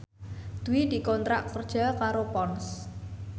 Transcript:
Dwi dikontrak kerja karo Ponds